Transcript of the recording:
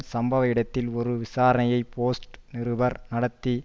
சம்பவ இடத்தில் ஒரு விசாரணையை போஸ்ட் நிருபர் நடத்தி